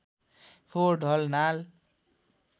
फोहोर ढल नाल